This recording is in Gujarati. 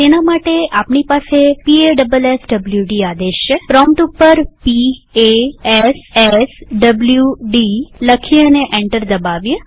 તેના માટે આપણી પાસે પાસવાડ આદેશ છેપ્રોમ્પ્ટ ઉપર p a s s w d લખીએ અને એન્ટર દબાવીએ